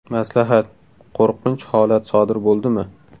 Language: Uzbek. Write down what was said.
Maslahat: Qo‘rqinch holat sodir bo‘ldimi?